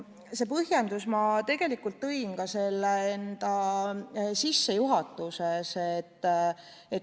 Selle põhjenduse ma tegelikult tõin välja enda ettekande sissejuhatuses.